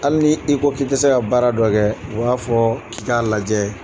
Hali ni i ko k'i tise ka baara dɔ kɛ u b'a fɔ k'i k'a lajɛ